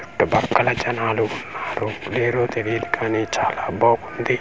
చుట్టుపక్కల జనాలు ఉన్నారు తెలీదు కానీ చాలా బాగుంది.